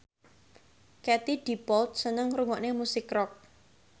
Katie Dippold seneng ngrungokne musik rock